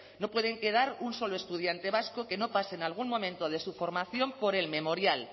no puede quedar un solo estudiante vasco que no pase en algún momento de su formación por el memorial